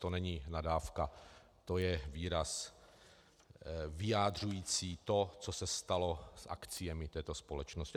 To není nadávka, to je výraz vyjadřující to, co se stalo s akciemi této společnosti.